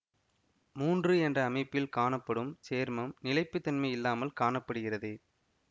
மூன்று என்ற அமைப்பில் காணப்படும் சேர்மம் நிலைப்புத்தன்மை இல்லாமல் காண படுகிறது